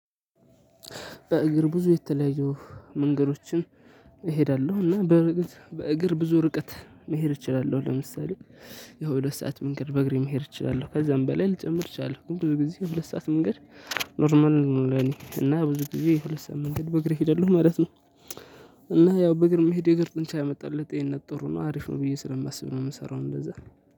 በእግር ብዙ የተለያዩ መንገዶችን እሄዳለሁ እና በርግጥ በእግር ብዙ ርቀት መሄድ እችላለሁ። ለምሳሌ የሁለት ሰዓት መንገድ በእግሬ መሄድ እችላለሁ ከዛም በላይ ልጨምር እችላለሁ። ግን ብዙ ጊዜ ሁለት ሰዓት መንገድ ኖርማል ነው። ለእኔ እና ብዙ ጊዜ የሁለት ሰዓት መንገድ በእግሬ እሄዳለሁ ማለት ነው። እና ያው በእግር መሄዴ እግር ጡንቻ ያመጣል ለጤንነት ጥሩ ነው። አሪፍ ነው ብዬ ስለማስብ ነው የምሰራው እንደዛ ነው።